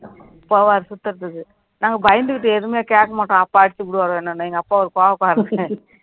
போவாரு சுத்துறதுக்கு நாங்க பயந்துகிட்டு எதுவுமே கேட்க மாட்டோம் அப்பா அடிச்சுப்புடுவார் என்னனு எங்க அப்பா ஒரு கோவக்காரர்